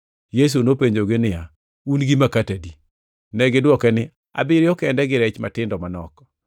Yesu nopenjogi niya, “Un gi makati adi?” Negidwoke niya, “Abiriyo kende gi rech matindo manok.”